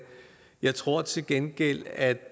jeg tror til gengæld at